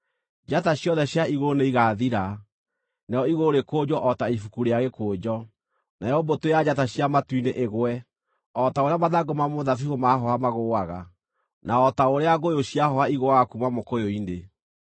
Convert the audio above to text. Njata ciothe cia igũrũ nĩigathira, narĩo igũrũ rĩkũnjwo o ta ibuku rĩa gĩkũnjo; nayo mbũtũ ya njata cia matu-inĩ ĩgwe o ta ũrĩa mathangũ ma mũthabibũ maahooha magũũaga, na o ta ũrĩa ngũyũ ciahooha igũũaga kuuma mũkũyũ-inĩ.